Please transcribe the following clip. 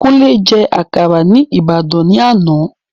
Kúnlé je àkàrà ni Ibadan ni ana